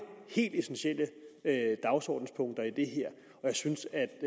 helt essentielle dagsordenspunkter i og jeg synes at